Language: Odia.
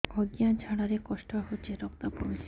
ଅଜ୍ଞା ଝାଡା ରେ କଷ୍ଟ ହଉଚି ରକ୍ତ ପଡୁଛି